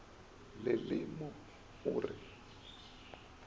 le le mo o re